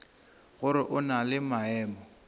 gore o na le maemo